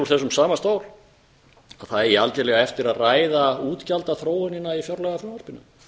úr þessum sama stól að það eigi algjörlega eftir að ræða útgjaldaþróunina í fjárlagafrumvarpinu